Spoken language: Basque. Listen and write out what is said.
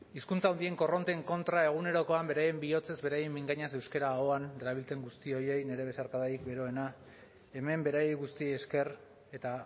hizkuntza handien korronteen kontra egunerokoan beraien bihotzez beraien mingainaz euskara ahoan darabilten guzti horiei ere nire besarkadarik beroena hemen beraiei guztiei esker eta